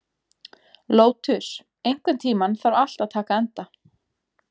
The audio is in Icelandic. Lótus, einhvern tímann þarf allt að taka enda.